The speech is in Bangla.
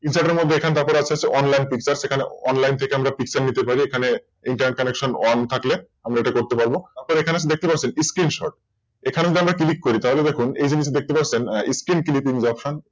Insert এর পর এখানে আসছে হচ্ছে Online picture ওখানে Online থেকে আমরা Picture নিতে পারি এখানে Ineternet connection on থাকলে আমরা এটা করতে পারব এখানে দেখতে পাচ্ছেন Screenshort এখানে যদি আমরা Click দেই তাহলে দেখুন কিছু দেখতে পাচ্ছেন Screen click option